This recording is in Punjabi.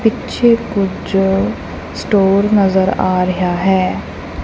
ਪਿੱਛੇ ਕੁਝ ਸਟੋਰ ਨਜ਼ਰ ਆ ਰਿਹਾ ਹੈ।